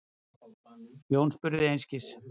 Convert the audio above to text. Jón spurði einskis.